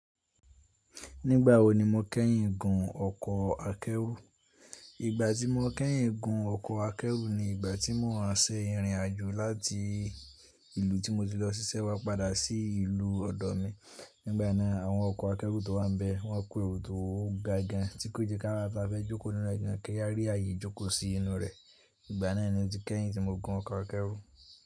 Nígbà wo ni mo kẹ́yìn gun ọkọ̀ akẹ́rù? Ìgbà tí mo kẹ́yìn gun ọkọ̀ akẹ́rù ni ìgbà tí mò ń ṣe ìrìnàjò láti ìlú tí mo ti lọ síṣẹ́ wá padà sí ìlú ọ̀dọ̀ mi. Nígbà náà, àwọn ọkọ̀ akẹ́rù tó wà ń bẹ, wọ́n kú èrò tó ga gan tí kò jẹ kí awa tí a fẹ́ jókòó nínú rẹ̀ gan kẹ́ yá rí ààyè jókòó sí inú rẹ̀. Ìgbà náà ni ó ti kẹ́yìn tí mo gun ọkọ̀ akẹ́rù.